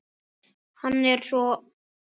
Hann er sá eldri okkar.